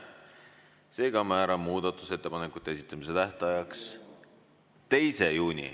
Seega määran muudatusettepanekute esitamise tähtajaks 2. juuni.